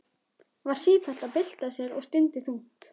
Var sífellt að bylta sér og stundi þungt.